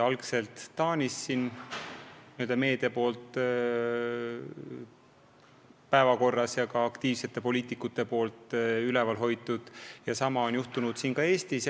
Algselt tõstis meedia selle päevakorrale Taanis, kus ka aktiivsed poliitikud on seda üleval hoidnud, ja sama on juhtunud ka siin Eestis.